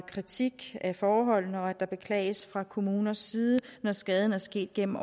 kritik af forholdene og at der beklages fra kommuners side når skaden er sket gennem